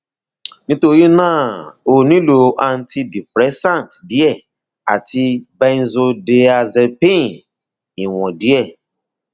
nítorí náà ó nílò antidepressant díẹ àti benzodiazepine ìwọn díẹ